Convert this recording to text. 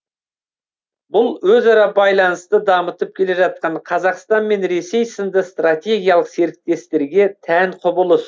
бұл өзара байланысты дамытып келе жатқан қазақстан мен ресей сынды стратегиялық серіктестерге тән құбылыс